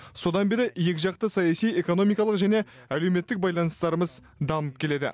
содан бері екіжақты саяси экономикалық және әлеуметтік байланыстарымыз дамып келеді